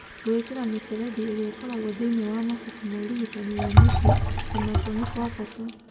Gwĩkĩra mĩberethi ĩrĩa ĩkoragũo thĩĩni wa mabuku ma ũrigitani wa mũciĩ, o nakuo nĩ kwa bata.